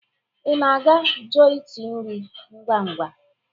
Ị na-aga joiti nri ngwa-ngwa?